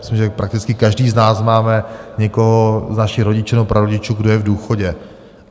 Myslím, že prakticky každý z nás máme někoho z našich rodičů nebo prarodičů, kdo je v důchodu.